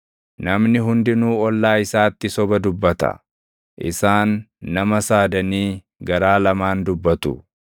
Namni hundinuu ollaa isaatti soba dubbata; isaan nama saadanii garaa lamaan dubbatu.